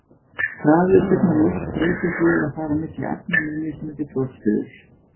Hraði og stefna ljóss breytist við að fara milli efna með mismunandi brotstuðul.